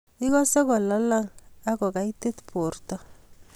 igase kolalang ak kogaitit borto